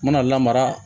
N mana lamara